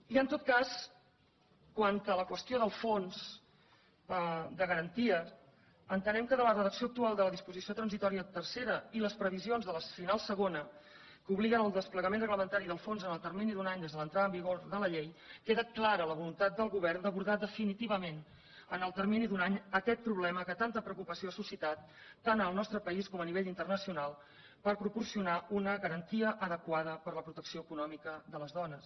i en tot cas quant a la qüestió del fons de garantia entenem que de la redacció actual de la disposició transitòria tercera i les previsions de la final segona que obliguen al desplegament reglamentari del fons en el termini d’un any des de l’entrada en vigor de la llei queda clara la voluntat del govern d’abordar definitivament en el termini d’un any aquest problema que tanta preocupació ha suscitat tant en el nostre país com a nivell internacional per proporcionar una garantia adequada per a la protecció econòmica de les dones